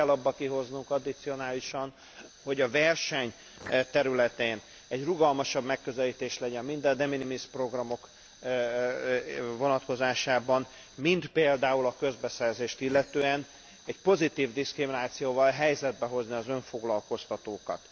Pluszt kell abból kihozni addicionálisan, hogy a verseny területén egy rugalmasabb megközelítés legyen mind a de minimis programok vonatkozásában, mind például a közbeszerzést illetően, egy pozitív diszkriminációval helyzetbe hozni az önfoglalkoztatókat.